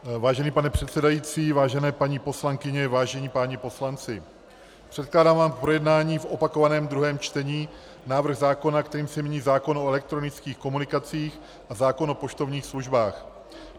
Vážený pane předsedající, vážené paní poslankyně, vážení páni poslanci, předkládám vám k projednání v opakovaném druhém čtení návrh zákona, kterým se mění zákon o elektronických komunikacích a zákon o poštovních službách.